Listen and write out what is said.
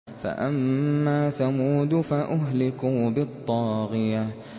فَأَمَّا ثَمُودُ فَأُهْلِكُوا بِالطَّاغِيَةِ